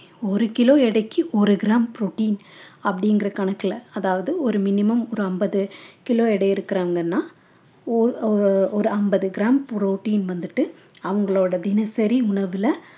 ஒரு kilo எடைக்கு ஒரு gram protein அப்படிங்கிற கணக்குல அதாவது ஒரு minimum ஒரு ஐம்பது kilo எடை இருக்கிறாங்கன்னா ஒ~ அஹ் ஒரு ஐம்பது gram protein வந்துட்டு அவங்களோட தினசரி உணவுல